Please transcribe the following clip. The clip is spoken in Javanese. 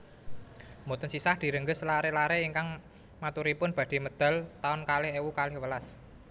Mboten sisah direngges lare lare ingkang maturipun badhe medal taun kalih ewu kalih welas